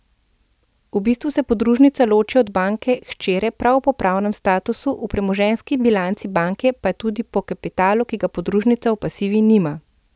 V bistvu se podružnica loči od banke hčere prav po pravnem statusu, v premoženjski bilanci banke pa tudi po kapitalu, ki ga podružnica v pasivi nima.